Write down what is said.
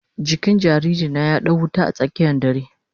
Jikin jariri na ya dau wuta a tsakiyan dare.